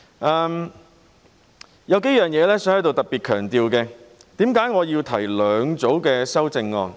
我想在此特別強調數點，為何我要提出兩組修正案？